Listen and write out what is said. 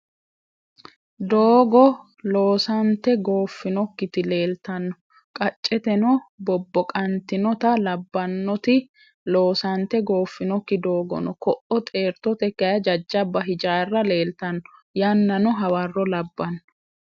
Doogo loosante gooffinokkiti leeltanno. Qacceteno boboqantinota labbanoti loosante goofinokki doogo no. Ko'o xeertote kayii jajjaba hijaarra leeltanno. Yannano hawarro labbano.